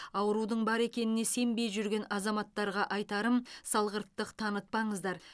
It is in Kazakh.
аурудың бар екеніне сенбей жүрген азаматтарға айтарым салғырттық танытпаңыздар